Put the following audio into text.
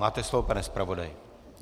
Máte slovo, pane zpravodaji.